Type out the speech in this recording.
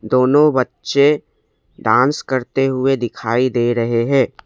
दोनों बच्चे डांस करते हुए दिखाई दे रहे हैं।